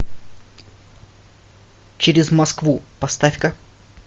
через москву поставь ка